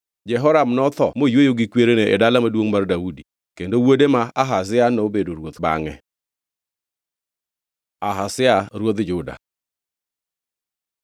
Jehoram notho moyweyo gi kwerene e Dala Maduongʼ mar Daudi, kendo wuode ma Ahazia nobedo ruoth bangʼe. Ahazia ruodh Juda